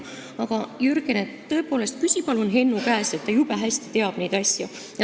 Aga, Jürgen, tõepoolest, küsi palun Hennu käest, ta jube hästi teab neid asju.